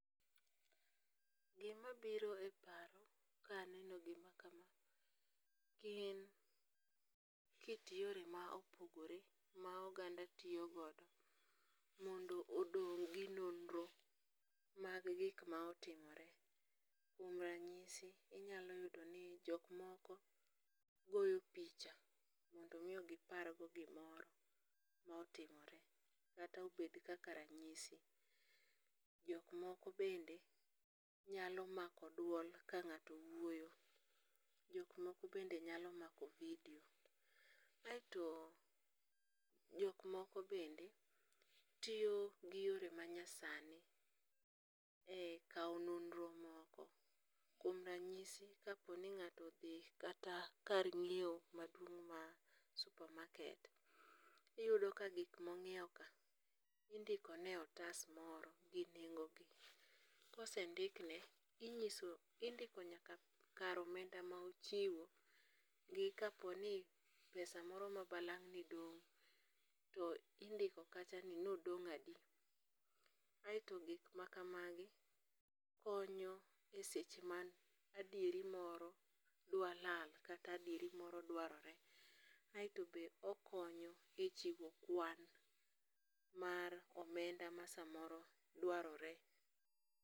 Gimabiro e paro ka aneno gimakama, gin kit yore ma opogore ma oganda toyogodo mondo odong' gi nonro mag gik ma otimore, kuom ranyisi inyalo yudoni jok moko goyo picha mondo omi gipar go gimoro mae otimore kata obed kaka ranyisi, jok moko bende nyalo mako duol ka ng'ato wuoyo, jok moko bende nyalo mako video, kaeto jok moko bende tiyo gi yore manyasani e kawo nonro moko kuom ranyisi ka poni ng'ato odhi kata kar nyiewo maduong' ma supermarket, iyudo ka gik monyiewo ka, indikone e otas moro gi nengogi, kosendikne inyiso indiko nyaka kar omenda ma ochiwo gi kaponi pesa moro ma balang' ne dong' to indiko kacha ni to nodong' adi, aeto gik makamagi konyo e seche ma adiero moro dwa lal kata adieri moro dwarore, aeto be okonyo e chimo kwan mar omenda ma samoro dwarore